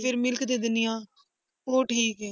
ਫਿਰ milk ਦੇ ਦਿੰਦੀ ਹਾਂ, ਉਹ ਠੀਕ ਹੈ।